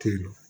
Ten